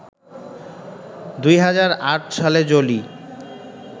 ২০০৮ সালে জোলি